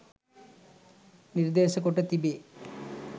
නිර්දේශ කොට තිබේ.